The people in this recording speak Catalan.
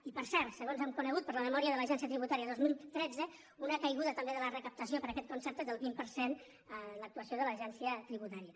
i per cert segons hem conegut per la memòria de l’agència tributària de dos mil tretze una caigu·da també de la recaptació per aquest concepte del vint per cent en l’actuació de l’agència tributària